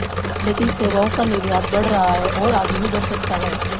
लेकिन सेवाओं का निर्यात बढ़ रहा है और आगे भी बढ़ सकता है